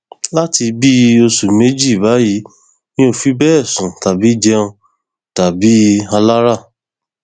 láti bíi oṣù méjì báyìí mi ò fi bẹẹ sùn tàbí jẹun dà bíi alára